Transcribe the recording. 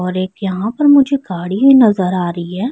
اور ایک یہاں پر مجھے گاڑی بھی نظر آ رہی ہے۔